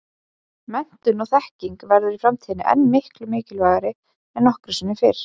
Menntun og þekking verður í framtíðinni enn miklu mikilvægari en nokkru sinni fyrr.